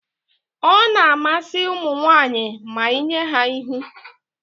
Ọ na-amasị ụmụ nwaanyị ma inye ha ihu